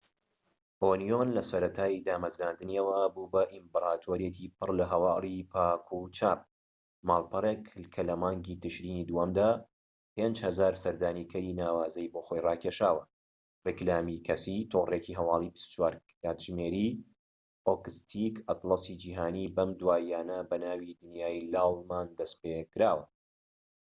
ئۆنیۆن لەسەرەتای دامەزراندنییەوە بووە بە ئیمپراتۆریەتی پڕلە هەواڵی پاک و چاپ ماڵپەڕێک کە لە مانگی ترشینی دووەمدا 5000هەزار سەردانیکەری ناوازەی بۆ خۆی ڕاکێشاوە ڕیکلامی کەسی تۆڕێکی هەواڵی 24 کاتژمێری ئۆکستیک ئەتڵەسی جیهانی بەم دواییانە بەناوی دنیای لاڵمان دەست پێکراوە